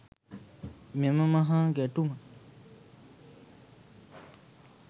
මෙම මහා ගැටුම